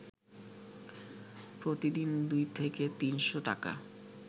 প্রতিদিন দুই থেকে তিনশ’ টাকা